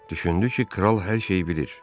Düşündü ki, kral hər şeyi bilir.